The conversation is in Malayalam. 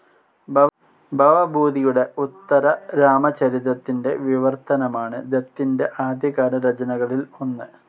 ഭവഭൂതിയുടെ ഉത്തരരാമചരിതത്തിൻ്റെ വിവർത്തനമാണ് ദത്തിൻ്റെ ആദ്യകാല രചനകളിൽ ഒന്ന്.